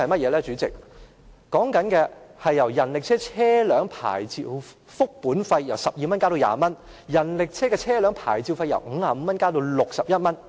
根據《修訂規例》，人力車車輛牌照複本費由12元增至20元，人力車的車輛牌照費由50元加到61元。